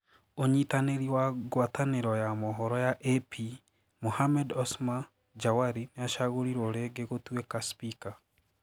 ũnyitanĩri wa guataniro ya mohoro ya AP Mohammed Osma Jawari niacagurirwo ringi gũtuika spika.